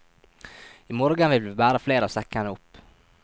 I morgen vil vi bære flere av sekkene opp.